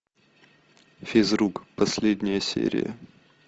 физрук последняя серия